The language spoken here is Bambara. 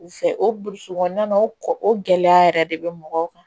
U fɛ o burusu kɔnɔna na o kɔ o gɛlɛya yɛrɛ de bɛ mɔgɔw kan